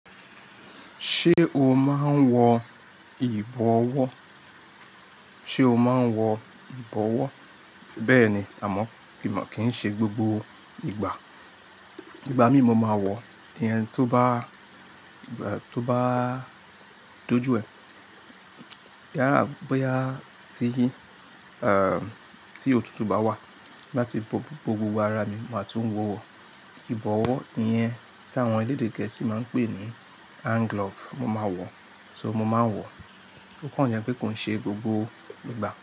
Ṣé o máa ń wọ ìbọwọ́? Sé o máa ń wọ ìbọwọ́? Bẹ́ẹ̀ni, àmọ́ kíì ṣe gbogbo ìgbà. Ìgbà mí mo máa wọ, ìyẹn tó bá, tó bá dojú ẹ, yálà bóyá ti, ehn, tí òtútù bá wà. Láti bo gbogbo arami ma tún wọ ìbọwọ́ ìyẹn tí àwọn elédè gẹ̀ẹ́sì máa ń pè ní hand glove, mo máa wọ̀, so mo máa ń wọ̀. Ó kàn jẹ́ pé kò ṣe gbogbo ìgbà.